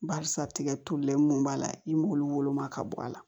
Barisa tigɛ tolen mun b'a la i m'olu woloma ka bɔ a la